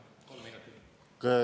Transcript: Jah, kolm minutit lisaks.